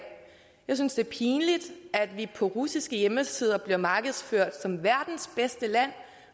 jeg synes det er pinligt at vi på russiske hjemmesider bliver markedsført som verdens bedste land